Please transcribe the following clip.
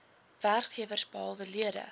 werkgewers behalwe lede